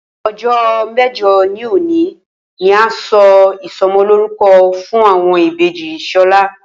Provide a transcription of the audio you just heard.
O̩jó̩ mé̩jo̩ òní ni a óò s̩e ìso̩mo̩lórúko̩ fún àwo̩n ìbejì S̩o̩lá